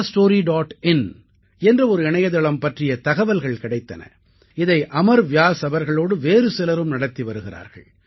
in என்ற ஒரு இணையதளம் பற்றிய தகவல்கள் கிடைத்தன இதை அமர் வ்யாஸ் அவர்களோடு வேறு சிலரும் நடத்தி வருகிறார்கள்